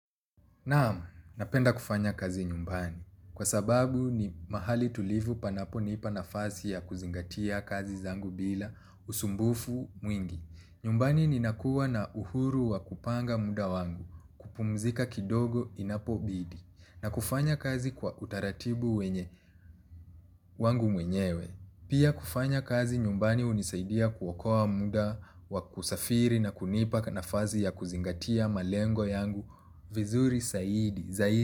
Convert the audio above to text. Naamu, napenda kufanya kazi nyumbani. Kwa sababu ni mahali tulivu panapo nipa nafasi ya kuzingatia kazi zangu bila usumbufu mwingi. Nyumbani ni nakuwa na uhuru wa kupanga muda wangu, kupumzika kidogo inapo bidi. Na kufanya kazi kwa utaratibu wenye, wangu mwenyewe. Pia kufanya kazi nyumbani hunisaidia kuokoa muda, wakusafiri na kunipa nafasi ya kuzingatia malengo yangu, vizuri saidi, zaidi.